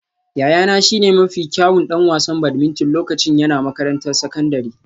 Yayana shine mafi kyawun ɗan wasan badminton lokacin yana makarantar sakandare